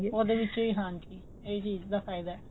ਉਹਦੇ ਵਿੱਚ ਹੀ ਹਾਂਜੀ ਇਹ ਚੀਜ ਦਾ ਫਾਇਦਾ